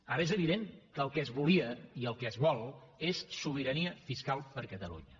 ara és evident que el que es volia i el que es vol és sobirania fiscal per a catalunya